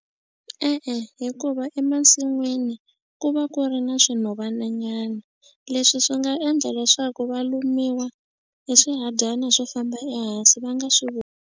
E-e, hikuva emasin'wini ku va ku ri na swinhovananyana leswi swi nga endla leswaku va lumiwa hi swihadyana swo famba ehansi va nga swi .